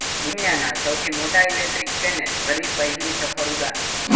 દુનિયાના સૌથી મોટા ઇલેક્ટ્રિક પ્લેને ભરી પહેલી સફળ ઉડાન